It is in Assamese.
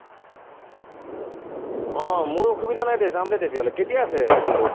আহ আহ মোৰ অসুবিধা নাই দে, যাম দে তেতিয়া হলে কেতিয়া আছে খেলটো?